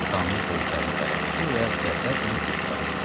Qanlı gözlərini bərəltdi və qəzəblə otdağıdı.